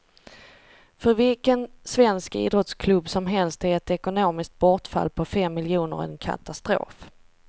För vilken svensk idrottsklubb som helst är ett ekonomiskt bortfall på fem miljoner en katastrof.